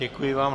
Děkuji vám.